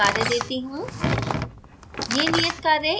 अब मैं कुछ नियत कार्य देती हूँ